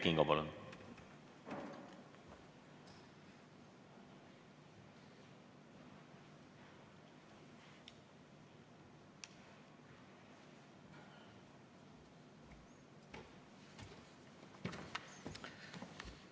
Kert Kingo, palun!